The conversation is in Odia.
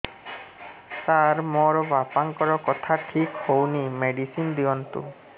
ସାର ମୋର ବାପାଙ୍କର କଥା ଠିକ ହଉନି ମେଡିସିନ ଦିଅନ୍ତୁ